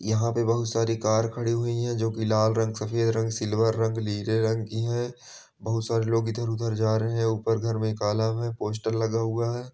यहाँ पे बहुत सारी कार खड़ी हुई हैं जो की लाल रंग सफेद रंग सिल्वर रंग नीले रंग की हैं बहुत सारे लोग इधर-उधर जा रहे हैं ऊपर घर में एक आलम है पोस्टर लगा हुआ है।